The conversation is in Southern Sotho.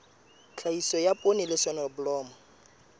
tlhahiso ya poone le soneblomo